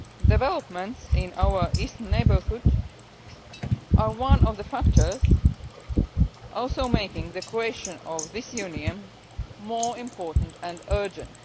Developments in the Eastern Neighbourhood are one of the factors also making the creation of this Union more important and urgent.